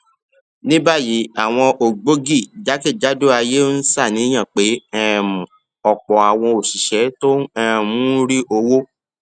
ní báyìí àwọn ògbógi jákèjádò ayé ń ṣàníyàn pé um òpò àwọn òṣìṣé tó um ń rí owó